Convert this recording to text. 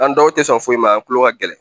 An dɔw tɛ sɔn foyi ma an tulo ka gɛlɛn